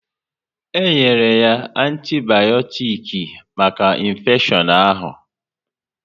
E nyere ya antibayotiks maka infeshion ahụ